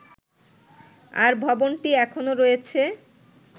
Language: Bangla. আর ভবনটি এখনও রয়েছে